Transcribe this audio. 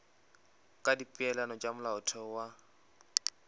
ka dipeelano tša molaotheo wa